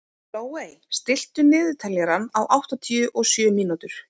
Glóey, stilltu niðurteljara á áttatíu og sjö mínútur.